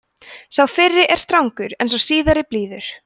sá fyrri er strangur en sá síðari blíður